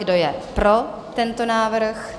Kdo je pro tento návrh?